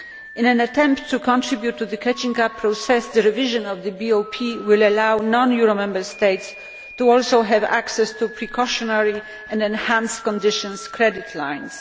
In an attempt to contribute to the catching up process, the revision of the BOP will allow non euro Member States to also have access to the precautionary and enhanced conditions credit lines.